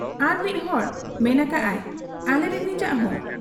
ᱟᱨᱢᱤᱫ ᱦᱚᱲᱮ ᱢᱮᱱ ᱟᱠᱟᱜ ᱟ ᱟᱟᱞᱤᱨᱤᱱᱤᱡᱟᱟᱜ ᱦᱚᱸ ᱾